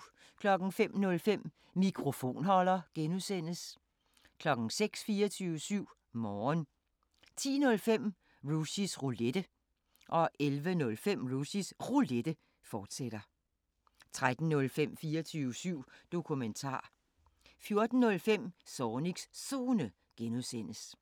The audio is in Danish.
05:05: Mikrofonholder (G) 06:00: 24syv Morgen 10:05: Rushys Roulette 11:05: Rushys Roulette, fortsat 13:05: 24syv Dokumentar 14:05: Zornigs Zone (G)